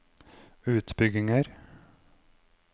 utbygginger